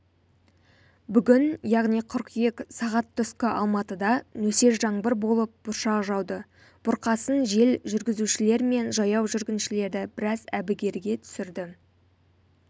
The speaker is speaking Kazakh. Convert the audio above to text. бүгін яғни қыркүйек сағат түскі алматыда нөсер жаңбыр болып бұршақ жауды бұрқасын жел жүргізушілер мен жаяу жүргіншілерді біраз әбігерге түсірді